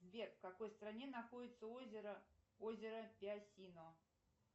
сбер в какой стране находится озеро озеро пясино